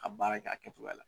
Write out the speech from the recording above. A baara ka a kɛcogoya la.